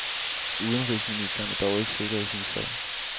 Udenrigsministeren er dog ikke sikker i sin sag.